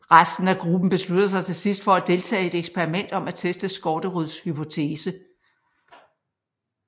Resten af gruppen beslutter sig til sidst for at deltage i et eksperiment om at teste Skårderuds hypotese